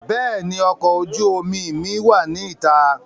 Béèni ọkọ̀ ojú omi mi wá ní ìta